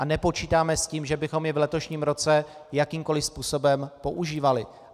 A nepočítáme s tím, že bychom je v letošním roce jakýmkoliv způsobem používali.